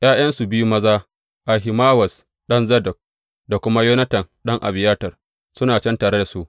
’Ya’yansu biyu maza, Ahimawaz ɗan Zadok, da kuma Yonatan ɗan Abiyatar, suna can tare da su.